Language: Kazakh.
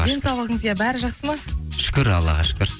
денсаулығыңыз иә бәрі жақсы ма шүкір аллаға шүкір